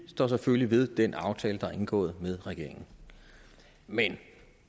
selvfølgelig ved den aftale der er indgået med regeringen men